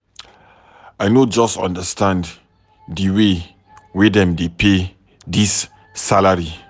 I no just understand di way wey dem dey pay dis salary.